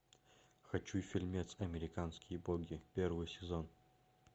хочу фильмец американские боги первый сезон